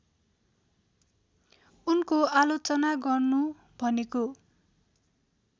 उनको आलोचना गर्नु भनेको